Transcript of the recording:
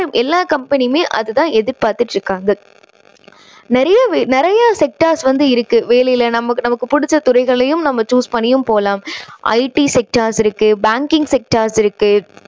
எல்லா company யுமே அது தான் எதிர்பார்த்துட்டு இருக்காங்க. நிறைய நிறைய sectors வந்து இருக்கு. வேலையில நம்ப~நமக்கு புடிச்ச துறைகளையும் நம்ம choose பண்ணியும் போலாம். IT sectors இருக்கு. banking sectors இருக்கு.